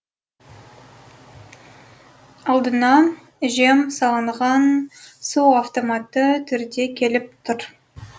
алдына жем салынған су автоматты түрде келіп тұр